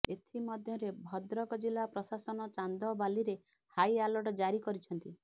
ଏଥିମଧ୍ୟରେ ଭଦ୍ରକ ଜିଲ୍ଲା ପ୍ରଶାସନ ଚାନ୍ଦବାଲିରେ ହାଇ ଆଲର୍ଟ ଜାରି କରିଛନ୍ତି